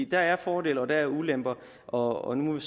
der er fordele og der er ulemper og nu